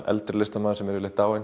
eldri listamenn sem eru